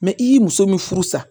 Mɛ i ye muso min furu sa